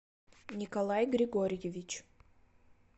николай григорьевич